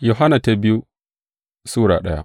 biyu Yohanna Sura daya